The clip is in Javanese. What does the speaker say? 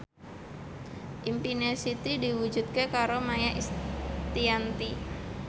impine Siti diwujudke karo Maia Estianty